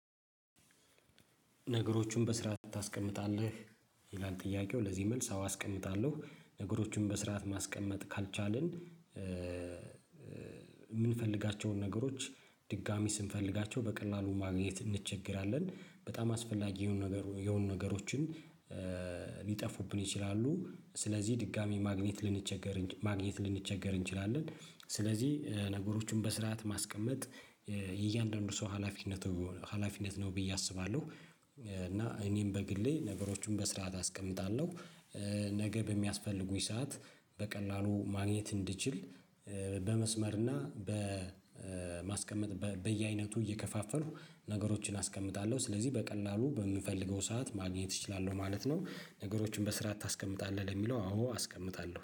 ነገሮችን በስርዓት ታስቀምጣለህ? ይላል ጥያቄው ለዚህ መልስ አዎ አስቀምጣለሁ ነገሮችን በስርዓት ማስቀመጥ ካልቻልን የምንፈልጋቸውን ነገሮች ድጋሚ ስንፈልጋቸው በቀላሉ ማግኘት እንቸገራለን። በጣም አስፈላጊ የሆኑ ነገር የሆኑ ነገሮችን ሊጠፉብን ይችላሉ ስለዚህ ድጋሜ ማግኘት ልንቸገር ማግኘት ልንቸገር እንችላለን። ስለዚህ ነገሮችን በስርዓት ማስቀመጥ የእያንዳንዱ ሰው ሀላፊነቱ ሀላፊነት ነው ብዬ አስባለሁ። እና እኔም በግሌ ነገሮችን በስርዓት አስቀምጣለሁ። ነገ በሚያስፈልጉኝ ሰዓት በቀላሉ ማግኘት እንድችል በመስመርና በማስቀመጥ በየአይነቱ እየከፋፈሉ ነገሮችን አስቀምጣለሁ ስለዚህ በቀላሉ በምፈልገው ሰዓት ማግኘት እችላለሁ ማለት ነው። ነገሮችን በስራአት ታስቀምጣለህ? ለሚለው አዎ አስቀምጣለሁ